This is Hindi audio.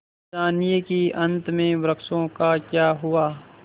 जानिए कि अंत में वृक्षों का क्या हुआ